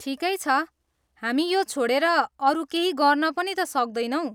ठिकै छ, हामी यो छोडेर अरू केही गर्न पनि त सक्दैनौँ।